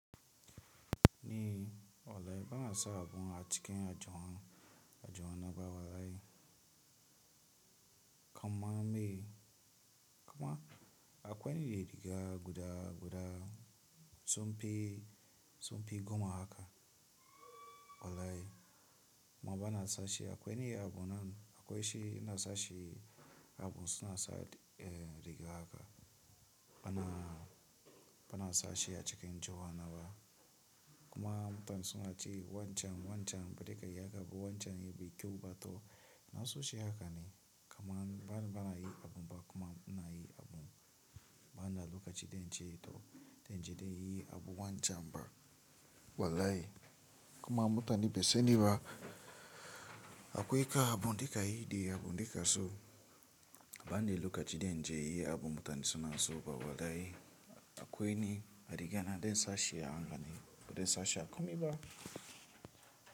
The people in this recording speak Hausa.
Ni wallahi bana sa abu a cikin aljihun aljihuna bawa ai. Kuma me, kuma akwai me riga guda guda sunfi sunfi goma haka wallahi. Kuma bana sashi akwai wani abun nan akwai shi ina sashi abun suna sa eh rigar haka. Bana bana sashi a cikin johan naba. Kuma mutanen suna cewa wancan wancan ba dekai ya ga abu wancan yake kyau ba to ina so shi haka ne. Kaman bana yi abun ba kuma ina yi abun bana loka ji daince to daince dai yi abu wancan ba wallahi. Kuma mutane basu sani ba akwai ka abu dekai yi da abu dekaso. Bana loka ci dan inje inyi abu mutane suna so ba wallahi. Akwai ne a rigana densashi a hanga ne ko densashi a komai ba.